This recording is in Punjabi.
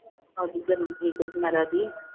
ਉਹਦੀ ਜਨਮ ਤਰੀਕ ਸਨਾਰਾ ਦੀ